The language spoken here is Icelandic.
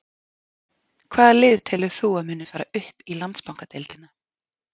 Hvaða lið telur þú að muni fara upp í Landsbankadeildina?